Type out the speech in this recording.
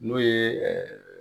N'o ye